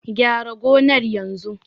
Gyara gonar yanzu!